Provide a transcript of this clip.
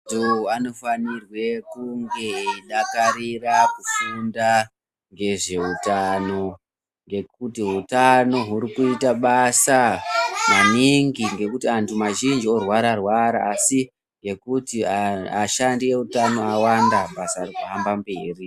Vantu anofanire kunge eyidakarira kufunda ngezvehutano, ngekuti hutano wurukuyita basa maningi, ngekuti antu mazhinji orwara rwara asi, yekuti ashandi ehutano awanda basa rifamba mberi.